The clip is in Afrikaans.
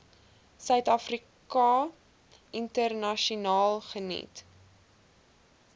suidafrika internasionaal geniet